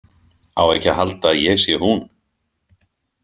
Á ekki að halda að ég sé hún.